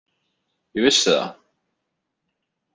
Ég vissi það!